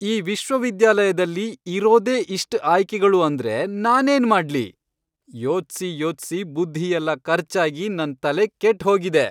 ಈ ವಿಶ್ವವಿದ್ಯಾಲಯದಲ್ಲಿ ಇರೋದೇ ಇಷ್ಟ್ ಆಯ್ಕೆಗಳು ಅಂದ್ರೆ ನಾನೇನ್ ಮಾಡ್ಲಿ?! ಯೋಚ್ಸಿ ಯೋಚ್ಸಿ ಬುದ್ಧಿಯೆಲ್ಲ ಖರ್ಚಾಗಿ ನನ್ ತಲೆ ಕೆಟ್ಹೋಗಿದೆ.